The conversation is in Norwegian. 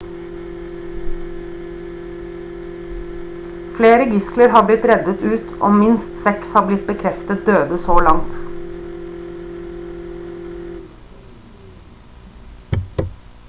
flere gisler har blitt reddet ut og minst seks har blitt bekreftet døde så langt